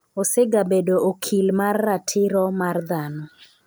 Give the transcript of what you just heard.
osegabedo okil mar ratiro mar dhano